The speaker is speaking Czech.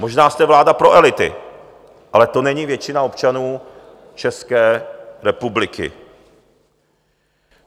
Možná jste vláda pro elity, ale to není většina občanů České republiky.